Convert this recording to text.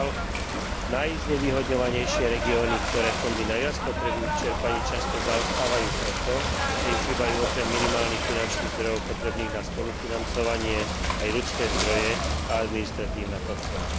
Žiaľ, najznevýhodňovanejšie regióny, ktoré fondy najviac potrebujú, v čerpaní často zaostávajú preto, že im chýbajú okrem minimálnych finančných zdrojov potrebných na spolufinancovanie aj ľudské zdroje a administratívna podpora.